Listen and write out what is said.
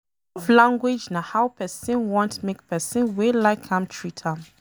Love language na how pesin want make pesin wey like am treat am